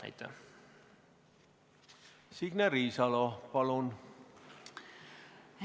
Signe Riisalo, palun!